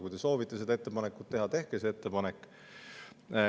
Kui te soovite seda ettepanekut teha, tehke see ettepanek.